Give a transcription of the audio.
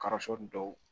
Karasoni dɔw